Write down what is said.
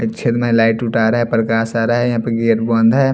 छेद मे लाइट उट आ रहा है प्रकाश आ रहा है यहां पे गेट बंद है।